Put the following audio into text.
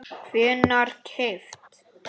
hvenær keypt?